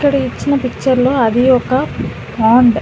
ఇక్కడ ఇచ్చిన పిక్చర్లో అది ఒక పాండ్ .